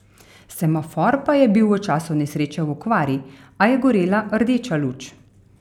Semafor pa je bil v času nesreče v okvari, a je gorela rdeča luč.